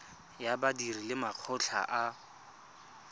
ya badiri le makgotla a